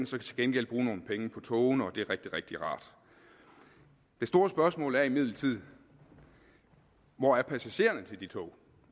så til gengæld bruge nogle penge på togene og det er rigtig rigtig rart det store spørgsmål er imidlertid hvor er passagererne til de tog